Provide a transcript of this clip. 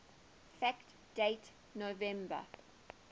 fact date november